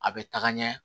A bɛ taga ɲɛ